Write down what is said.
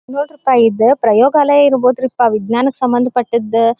ಇದು ನೊಡ್ರಿಪ ಇದು ಪ್ರಯೋಗಾಲಯ ಇರ್ಬೋದು ಪ ವಿಜ್ಞಾನ ಸಂಬಂಧ ಪಟ್ಟಿದ್.